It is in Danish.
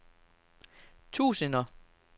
tusinder